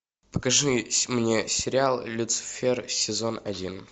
покажи мне сериал люцифер сезон один